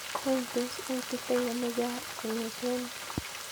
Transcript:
Wany tos aititano gaa kong'eten yu